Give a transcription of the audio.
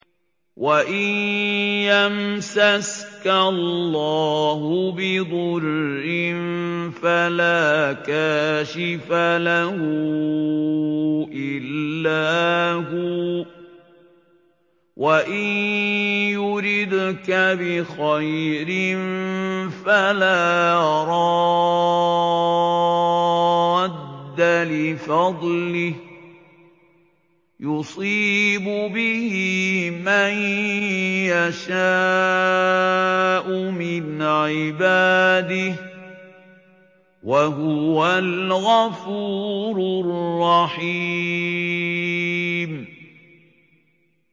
وَإِن يَمْسَسْكَ اللَّهُ بِضُرٍّ فَلَا كَاشِفَ لَهُ إِلَّا هُوَ ۖ وَإِن يُرِدْكَ بِخَيْرٍ فَلَا رَادَّ لِفَضْلِهِ ۚ يُصِيبُ بِهِ مَن يَشَاءُ مِنْ عِبَادِهِ ۚ وَهُوَ الْغَفُورُ الرَّحِيمُ